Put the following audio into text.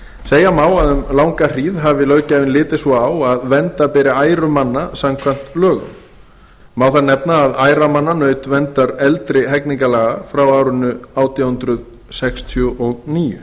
segja má að um langa hríð hafi löggjafinn litið svo á að vernda beri æru manna samkvæmt lögum má þar nefna að æra manna naut verndar eldri hegningarlaga frá árinu átján hundruð sextíu og níu